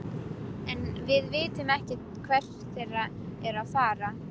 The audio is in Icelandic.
En við vitum ekkert hvert þeir eru að fara.